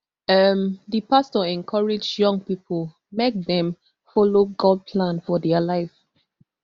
um di pastor encourage young pipo make dem follow god plan for dia life